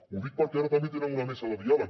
ho dic perquè ara també tenen una mesa de diàleg